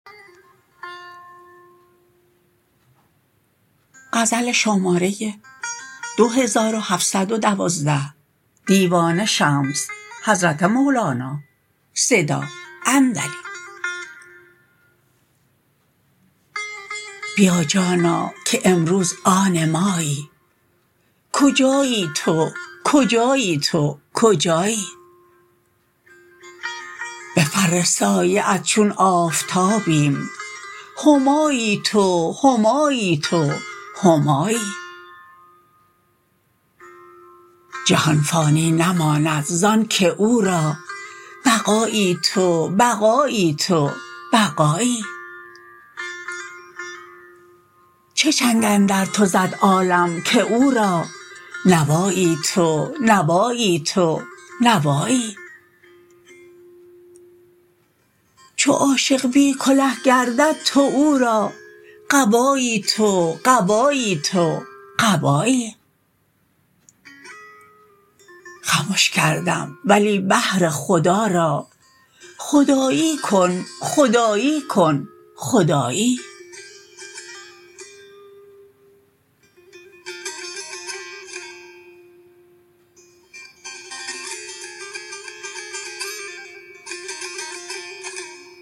بیا جانا که امروز آن مایی کجایی تو کجایی تو کجایی به فر سایه ات چون آفتابیم همایی تو همایی تو همایی جهان فانی نماند ز آنک او را بقایی تو بقایی تو بقایی چه چنگ اندر تو زد عالم که او را نوایی تو نوایی تو نوایی چو عاشق بی کله گردد تو او را قبایی تو قبایی تو قبایی خمش کردم ولی بهر خدا را خدایی کن خدایی کن خدایی